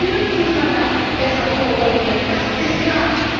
Und natürlich muss man da besser kooperieren, das ist klar.